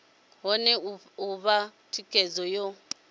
kone u fha thikhedzo yo